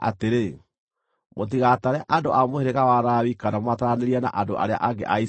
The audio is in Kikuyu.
“Mũtigatare andũ a mũhĩrĩga wa Lawi kana mũmataranĩrie na andũ arĩa angĩ a Isiraeli.